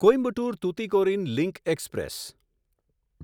Coimbatore Tuticorin link express